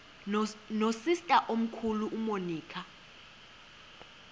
nosister omkhulu umonica